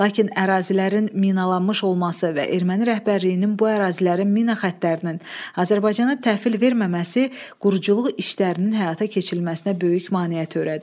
Lakin ərazilərin minalanmış olması və Erməni rəhbərliyinin bu ərazilərin mina xəttlərinin Azərbaycana təhvil verməməsi quruculuq işlərinin həyata keçirilməsinə böyük maneə törədir.